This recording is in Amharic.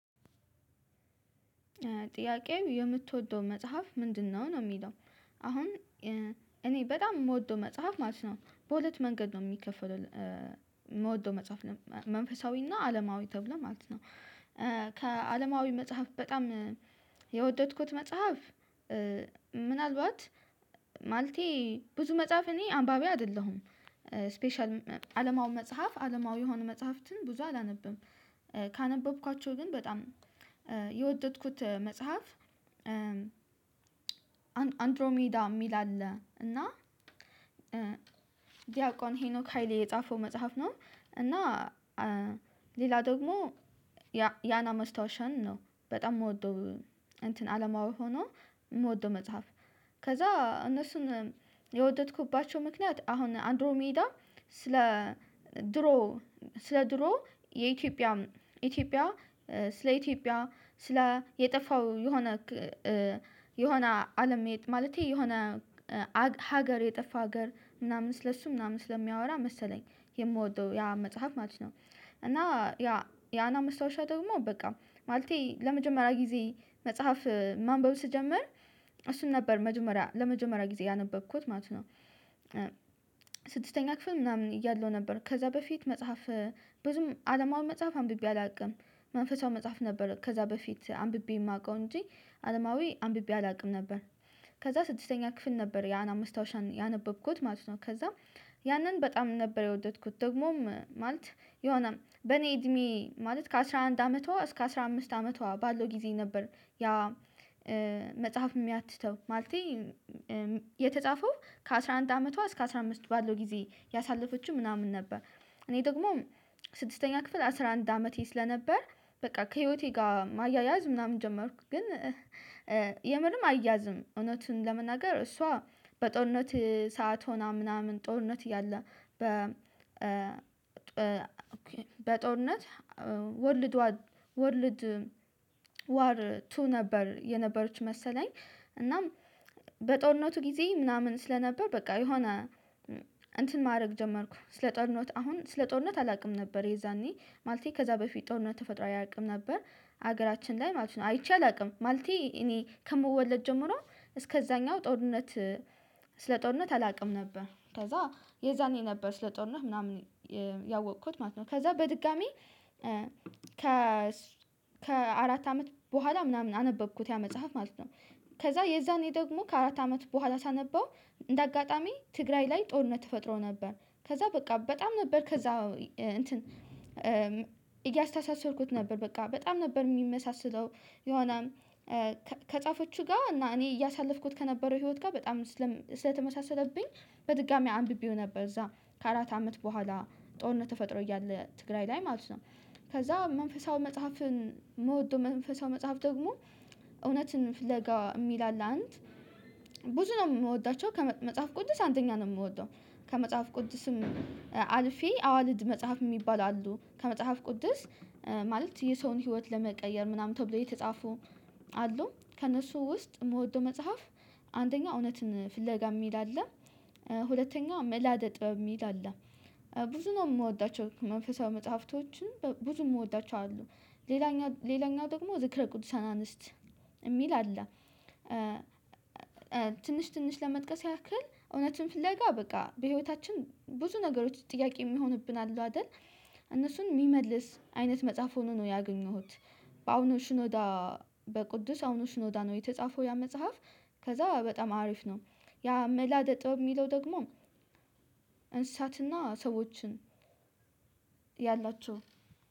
ጥያቄው የምትወደው መጽሐፍ ምንድነው ነው የሚለው? አሁን እኔ በጣም የምወደው መጽሐፍ ማለት ነው በሁለት መንገድ ነው የሚከፈለው። የምወደው መጽሐፍ መንፈሳዊ እና አለማዊ ተብሎ ማለት ነው። ከአለማዊ መጽሐፍ በጣም የወደድኩት መጽሐፍ። ምናልባት ማለቴ ብዙ መጽሐፍ እኔ አንባቢ አይደለሁም። ስፔሻል አለማዊ መጽሐፍ አለማዊ የሆነ መጽሐፍትን ብዙ አላነብም። ካነበብኳቸው ግን በጣም የወደድኩት መጽሐፍ አንድሮሜዳ ሚል አለ እና ዲያቆን ሄኖክ ሃይሌ የጻፈው መጽሐፍ ነው። እና ሌላ ደግሞ የ አና ማስታወሻን ነው በጣም የምወደው እንትን አለማዊ ሆኖ የምወደው መጽሐፍ። ከዛ እነሱን የወደድኩባቸው ምክንያት አሁን አንድሮ ሜዳ ስለ ስለ ድሮ የኢትዮጵያ ኢትዮጵያ ስለ ኢትዮጵያ ስለ የጠፋው የሆነ የሆነ አለም መሄድ ማለቴ የሆነ ሀገር የጠፋ ሀገር ምናምን ስለሱ ምናምን ስለሚያወራ መሰለኝ የምወደው ያ መጽሐፍ ማለት ነው። እና ያየአና ማስታወሻ ደግሞ በቃ ማለቴ ለመጀመሪያ ጊዜ መጽሐፍ ማንበብ ስጀምር እሱን ነበር መጀመሪያ ለመጀመሪያ ጊዜ ያነበብኩት ማለት ነው። ስድስተኛ ክፍል ምናምን እያለሁ ነበር ከዛ በፊት መጽሐፍ ብዙም አለማዊ መጽሐፍ አንብቤ አላውቅም። መንፈሳዊ መጽሐፍ ነበር ከዛ በፊት አንብቤ የማውቀው እንጂ አለማዊ አንብቤ አላውቅም ነበር። ከዛ ስድስተኛ ክፍል ነበር የ አና ማስታወሻን ያነበብኩት ማለት ነው። ከዛ ያንን በጣም ነበር የወደድኩት ደግሞም ማለት የሆነም በኔ እድሜ ማለት ከአሥራ አንድ አመቷ እስከ አስራ አምስትት አመቷ ባለው ጊዜ ነበር። ያ መጽሐፍ የሚያትተው ማለቴ የተጻፈው ከአሥራ አንድ አመቷ እስከ አስራ አምስት ባለው ጊዜ ያሳለፈችው ምናምን ነበር። እኔ ደግሞ ስድስተኛ ክፍል አስራ አንድ አመቴ ስለነበር በቃ ከህይወቴ ጋር ማያያዝ ምናምን ጀመርኩ ግን። የምርም አይያዝም እውነቱን ለመናገር እሷ በጦርነት ሰዓት ሆና ምናምን ጦርነት እያለ በ በጦርነት ወርልድ ዋር ቱ ነበር የነበረችው መሰለኝ እናም በጦርነቱ ጊዜ ምናምን ስለነበር በቃ የሆነ እንትን ማድረግ ጀመርኩ ስለ ጦርነት አሁን ስለ ጦርነት አላውቅም ነበር የዛኔ ማለቴ ከዛ በፊት ጦርነት ተፈጥሮ አያውቅም ነበር። ሀገራችን ላይ ማለት ነው አይቼ አላውቅም ማለቴ እኔ ከመወለድ ጀምሮ እስከዛኛው ጦርነት ስለ ጦርነት አላውቅም ነበር። ከዛ የዛኔ ነበር ስለ ጦርነት ምናምን ያወቅኩት ማለት ነው ከዛ በድጋሚ ከ አመት በኋላ ምናምን አነበብኩት ያ መጽሐፍ ማለት ነው። ከዛ የዛኔ ደግሞ ከአራት አመት በኋላ ሳነበው እንደ አጋጣሚ ትግራይ ላይ ጦርነት ተፈጥሮ ነበር ከዛ በቃ በጣም ነበር ከዛ እንትን እያስተሳሰርኩት ነበር በቃ በጣም ነበር የሚመሳሰለው። የሆነ ከጻፈችው ጋር እና እኔ እያሳለፍኩት ከነበረው ህይወት ጋር በጣም ስለተመሳሰለብኝ በድጋሚ አንብቤው ነበር እዛ ከአራት አመት በኋላ ጦርነት ተፈጥሮ እያለ ትግራይ ላይ ማለት ነው። ከዛ መንፈሳዊ መጽሐፍን ምወደው መንፈሳዊ መጽሐፍ ደግሞ እውነትን ፍለጋ የሚል አለ አንድ ብዙ ነው የምወዳቸው ከመጽሐፍ ቅዱስ አንደኛ ነው የምወደው። ከመጽሐፍ ቅዱስም አልፌ አእዋልድ መጽሐፍ የሚባል አሉ ከመጽሐፍ ቅዱስ ማለት የሰውን ህይወት ለመቀየር ምናምን ተብሎ የተጻፉ አሉ ከእነሱ ውስጥ የምወደው መጽሐፍ አንደኛው እውነትን ፍለጋ የሚል አለ። ሁለተኛው ምእላደ ጥበብ የሚል አለ። ብዙ ነው የምወዳቸው መንፈሳዊ መጽሐፍቶችን ብዙ የምወዳቸው አሉ። ሌላኛው ሌላኛው ደግሞ ዝክረ ቅዱሳን አንስት የሚል አለ። ትንሽ ትንሽ ለመጥቀስ ያክል እውነትን ፍለጋ በቃ በህይወታችን ብዙ ነገሮች ጥያቄ የሚሆንብን አሉ አይደል እነሱን የሚመልስ አይነት መጽሐፍ ሆኖ ነው ያገኘሁት። በአሁኑ ሽኖዳ በቅዱስ አቡነ ሽኖዳ ነው የተጻፈው ያ መጽሐፍ። ከዛ በጣም አሪፍ ነው። ያ ምእላደ ጥበብ የሚለው ደግሞ እንስሳትና ሰዎችን ያላቸው